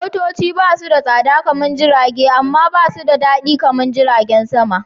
Motoci basu da tsada kaman Jirage, amma ba su da daɗi kamar jiragen sama.